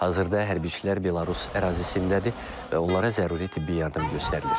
Hazırda hərbiçilər Belarus ərazisindədir və onlara zəruri tibbi yardım göstərilir.